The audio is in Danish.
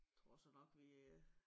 Tror jeg så nok lige øh